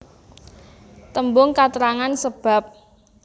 Tembung katrangan sebab